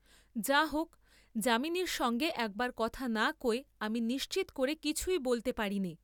যা হোক , যামিনীর সঙ্গে একবার কথা না কয়ে আমি নিশ্চিত করে কিছু বলতে পারিনি ।